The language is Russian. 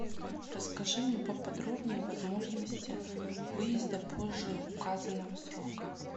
расскажи мне поподробнее о возможности выезда позже указанного срока